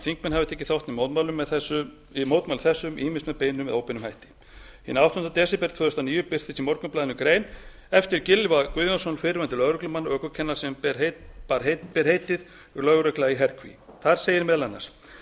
þingmenn hafi tekið þátt í mótmælum þessum ýmist með beinum eða óbeinum hætti hinn áttundi desember tvö þúsund og níu birtist í morgunblaðinu grein eftir gylfa guðjónsson fyrrverandi lögreglumann og ökukennara sem ber heitið lögregla í herkví þar segir meðal annars